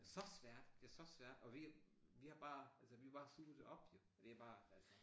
Så svært det så svært og vi vi har bare altså vi har bare suget det op jo vi har bare altså